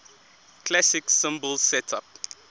classic cymbal setup